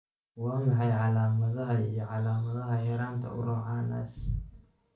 Waa maxay calaamadaha iyo calaamadaha yaraanta Urocanase?